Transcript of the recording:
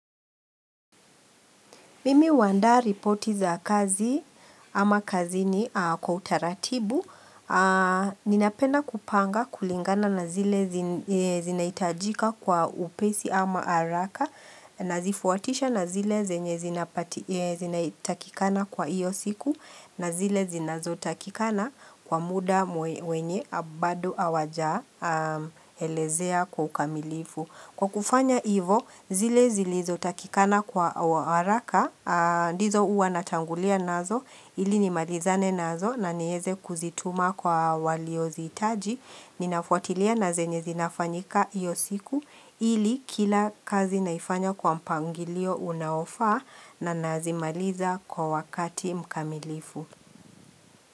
Mimi huandaa ripoti za kazi ama kazini kwa utaratibu. Ninapenda kupanga kulingana na zile zinahitajika kwa upesi ama haraka. Nazifuatisha na zile zenye zinatakikana kwa iyo siku. Na zile zinazotakikana kwa muda wenye bado awajaelezea kwa ukamilifu. Kwa kufanya ivo, zile zilizotakikana wa haraka, ndizo uwa natangulia nazo, ili nimalizane nazo na nieze kuzituma kwa walioziitaji, ninafuatilia na zenye zinafanyika iyo siku, ili kila kazi naifanya kwa mpangilio unaofaa na nazimaliza kwa wakati mkamilifu.